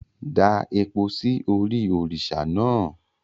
Da epo sí orí òrìṣà náà!